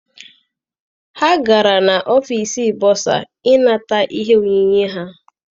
Ha gara n'ọfịịsi bọsa I nata ihe onyinye ha.